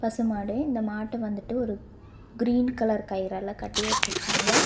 பசுமாடு இந்த மாட்ட வந்துட்டு ஒரு கிரீன் கலர் கயிறால கட்டி வெச்சிருக்காங்க.